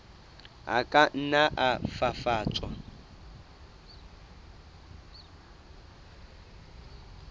a ka nna a fafatswa